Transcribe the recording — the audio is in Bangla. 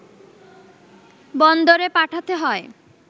বন্দরে পাঠাতে হয়